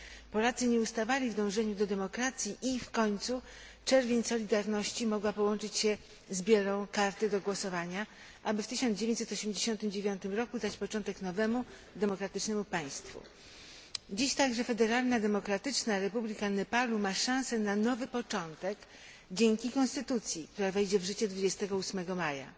Polacy nie ustawali w dążeniu do demokracji i w końcu czerwień solidarności mogła połączyć się z bielą karty do głosowania, aby w 1989 roku dać początek nowemu, demokratycznemu państwu. Dziś także Federalna Demokratyczna Republika Nepalu ma szansę na nowy początek dzięki konstytucji, która wejdzie w życie 28 maja.